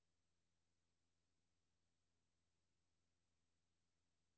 Han spillede fysisk medrivende og helt nutidigt i det rytmiske.